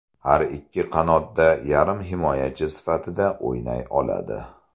Har ikki qanotda yarim himoyachi sifatida o‘ynay oladi.